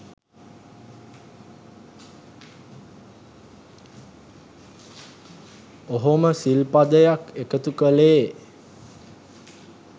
ඔහොම සිල් පදයක් එකතු කලේ.